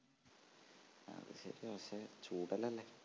അത് ശരിയാ പക്ഷെ ചൂടെല്ലാല്ലേ